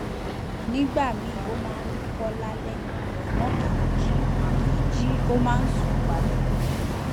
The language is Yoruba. nígbà míì ó máa ń wúkọ lálẹ àmọ kìí jí kìí jí ó máa ń sùn padà